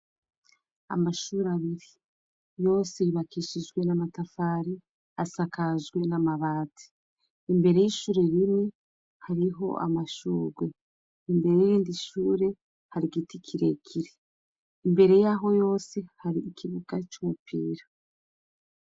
Amashure abiri yose yubakishijwe n'amatafari asakajwe n'amabati, imbere y'ishure rimwe hariho amashurwe, imbere y'irindi shure hari igiti kirekire, imbere y'aho yose hari ikibuga c'umupira.